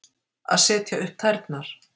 Að setja upp tærnar